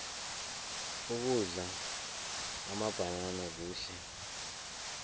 ukudla amabhanana kuhle